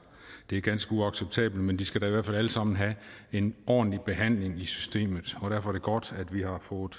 det er ganske uacceptabelt men de skal da i hvert fald alle sammen have en ordentlig behandling i systemet og derfor er det godt at vi har fået